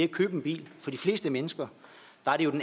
købe en bil for de fleste mennesker